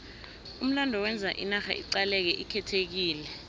umlando wenza inarha iqaleke ikhethekile